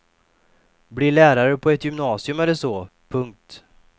Bli lärare på ett gymnasium eller så. punkt